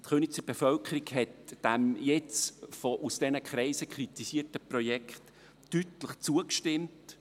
Die Könizer Bevölkerung hat dem Projekt, das aus diesen Kreisen kritisiert wird, deutlich zugestimmt;